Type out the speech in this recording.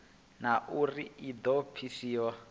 na uri i do pfiswa